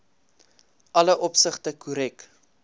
alle opsigte korrek